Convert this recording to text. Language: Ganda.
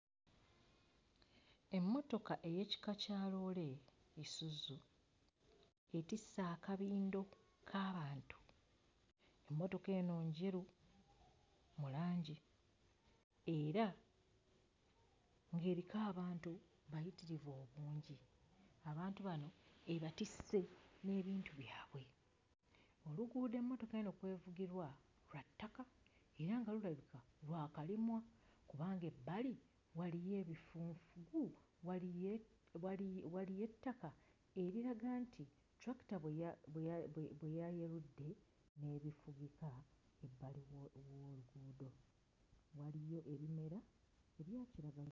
Emmotoka ey'ekika kya loole Isuzu etisse akabindo k'abantu. Emmotoka eno njeru mu langi era ng'eriko abantu bayitirivu obungi abantu bano ebatisse n'ebintu byabwe. Oluguudo emmotoka eno kw'evugirwa lwa ttaka era nga lulabika lwakalimwa kubanga ebbali waliyo ebifunfugu waliye wali waliyo ettaka eriraga nti ttulakita bwe ya bwe bwe bwe yayerudde n'erifugika. Ebbaliw wo w'oluuudo waliyo ebimera ebya kiragala.